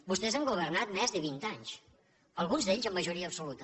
vostès han governat més de vint anys alguns d’ells amb majoria absoluta